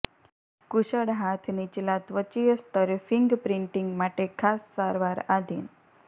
કુશળ હાથ નીચલા ત્વચીય સ્તર ફિંગપ્રિન્ટીંગ માટે ખાસ સારવાર આધિન